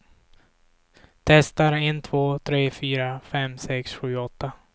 Testar en två tre fyra fem sex sju åtta.